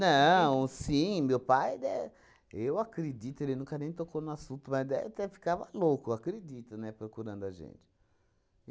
sim, meu pai, dé eu acredito, ele nunca nem tocou no assunto, mas dé até ficava louco, eu acredito, né, procurando a gente.